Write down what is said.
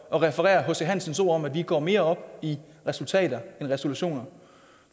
at referere hc hansens ord om at vi går mere op i resultater end resolutioner